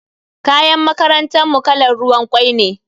Kayan makarantar mu kalan ruwan kwai ne.